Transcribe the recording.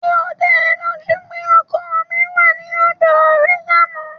Ṣé ó da ẹ lójú pé ọkọ mi wá sí ọ̀dọ̀ rẹ lánàá?